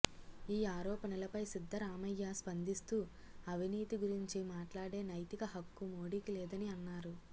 ఈ ఆరోపణలపై సిద్ధరామయ్య స్పందిస్తూ అవినీతి గురించి మాట్లాడే నైతిక హక్కు మోడీకి లేదని అన్నారు